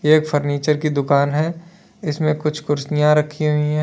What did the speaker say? एक फर्नीचर की दुकान है इसमें कुछ कुर्सियां रखी हुई है।